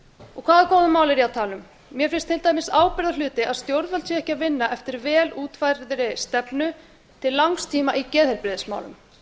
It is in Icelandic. og hvaða góðu mál mál er ég að tala um mér finnst til dæmis ábyrgðarhluti að stjórnvöld séu ekki að vinna eftir vel útfærðri stefnu til langs tíma í geðheilbrigðismálum